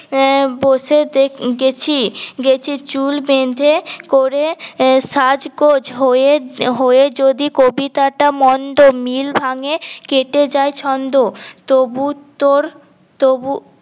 এ এ বসে গেছি গেছি চুল বেঁধে করে সাঁজগোঁজ হয়ে হয়ে যদি কবিতাটা মন্দ মিল ভাঙে কেটে যায় ছন্দ তবু তোর তবু